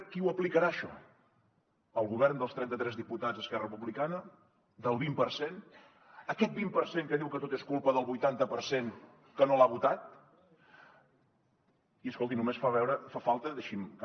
qui ho aplicarà això el govern dels trenta tres diputats d’esquerra republicana del vint per cent aquest vint per cent que diu que tot és culpa del vuitanta per cent que no l’ha votat i escolti només fa falta deixin me